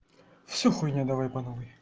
всё хуйня давай по новой